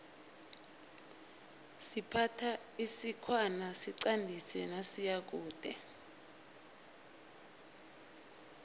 siphatha isikhwana siqandisi nasiyakude